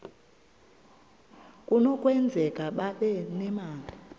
kunokwenzeka babe nemali